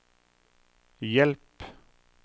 hjelp